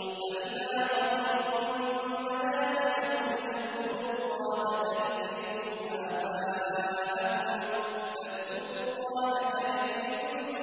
فَإِذَا قَضَيْتُم مَّنَاسِكَكُمْ فَاذْكُرُوا اللَّهَ كَذِكْرِكُمْ